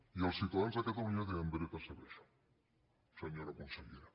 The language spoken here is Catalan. i els ciutadans de catalunya tenen dret a saber això senyora consellera